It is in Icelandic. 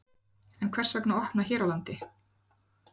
En hvers vegna að opna hér á landi?